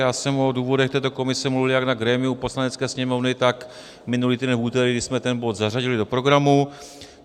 Já jsem o důvodech této komise mluvil jak na grémiu Poslanecké sněmovny, tak minulý týden v úterý, kdy jsme ten bod zařadili do programu.